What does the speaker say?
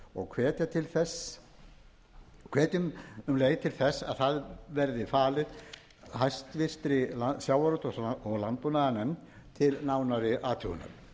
og hvetja um leið til þess að það verði falið háttvirtur sjávarútvegs og landbúnaðarnefnd til nánari athugunar